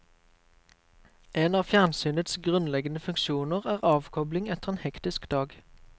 En av fjernsynets grunnleggende funksjoner er avkobling etter en hektisk dag.